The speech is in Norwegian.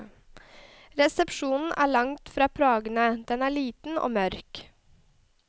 Resepsjonen er langt fra prangende, den er liten og mørk.